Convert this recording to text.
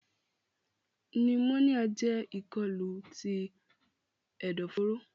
Pneumonia jẹ ikolu ti ẹdọforo.